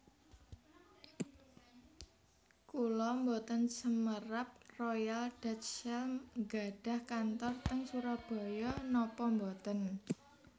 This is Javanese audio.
Kula mboten semerap Royal Dutch Shell nggadhah kantor teng Surabaya nopo mboten